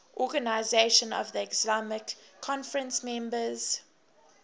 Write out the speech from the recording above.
organisation of the islamic conference members